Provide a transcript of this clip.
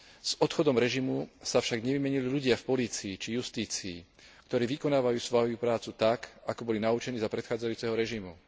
S odchodom režimu sa však nevymenili ľudia v polícii či justícii, ktorí vykonávajú svoju prácu tak, ako boli naučení za predchádzajúceho režimu.